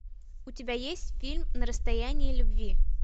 у тебя есть фильм на расстоянии любви